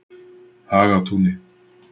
Hagatúni